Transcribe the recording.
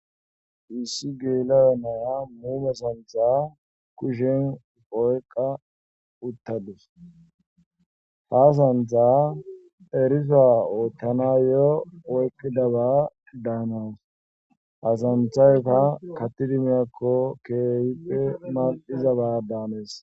issi geelaya naya muume santha kushen oyqa uttadus ha santha erisa oottana yoo oykkidaba daanawus asanthayta kattidimiyakko kehippe mal7iza baadaanees